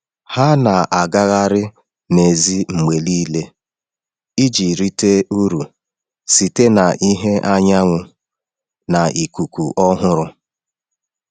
Ha na-agagharị n’èzí mgbe niile iji rite uru site na ìhè anyanwụ na ikuku ọhụrụ.